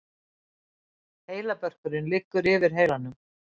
heilabörkurinn liggur yfir heilanum